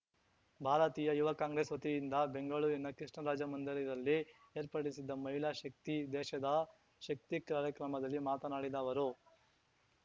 ಭಾರತೀಯ ಯುವ ಕಾಂಗ್ರೆಸ್‌ ವತಿಯಿಂದ ಬೆಂಗಳೂರಿನ ಕೃಷ್ಣರಾಜ ಮಂದಿರದಲ್ಲಿ ಏರ್ಪಡಿಸಿದ್ದ ಮಹಿಳಾ ಶಕ್ತಿ ದೇಶದ ಶಕ್ತಿ ಕಾರ್ಯಕ್ರಮದಲ್ಲಿ ಮಾತನಾಡಿದ ಅವರು